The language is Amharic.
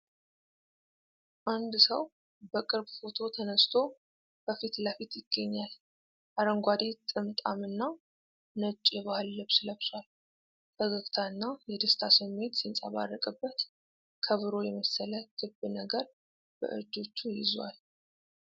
አንድ ሰው በቅርብ ፎቶ ተነስቶ በፊት ለፊት ይገኛል፤ አረንጓዴ ጥምጣም እና ነጭ የባህል ልብስ ለብሷል። ፈገግታና የደስታ ስሜት ሲንጸባረቅበት፣ ከበሮ የመሰለ ክብ ነገር በእጆቹ ይዟል።